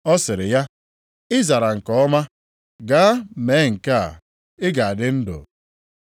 Ọ sịrị ya, “Ị zara nke ọma. Gaa mee nke a ị ga-adị ndụ.”